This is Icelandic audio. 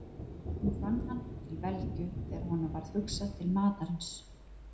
Nú fann hann til velgju þegar honum varð hugsað til matarins.